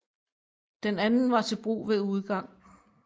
Den anden var til brug ved udgang